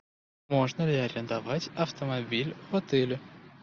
можно ли арендовать автомобиль в отеле